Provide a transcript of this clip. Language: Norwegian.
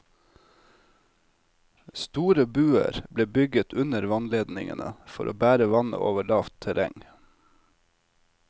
Store buer ble bygget under vannledningene for å bære vannet over lavt terreng.